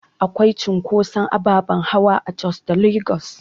Akwai cunkotson ababen hawa a Jos da Lagos